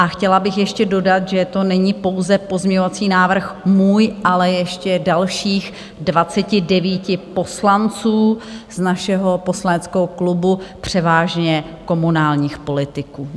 A chtěla bych ještě dodat, že to není pouze pozměňovací návrh můj, ale ještě dalších 29 poslanců z našeho poslaneckého klubu, převážně komunálních politiků.